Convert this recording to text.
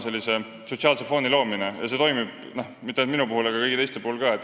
Sellesama sotsiaalse fooni loomine ei toimi mitte ainult minu puhul, vaid kõigi teiste puhul ka.